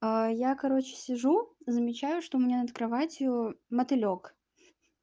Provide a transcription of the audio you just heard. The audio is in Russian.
я короче сижу замечаю что у меня над кроватью мотылёк